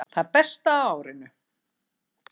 Það besta á árinu